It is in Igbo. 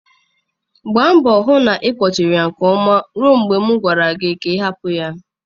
Gbaa mbọ hụ na ị kpochiri ya nke ọma ruo mgbe m gwara gị ka ị hapụ ya.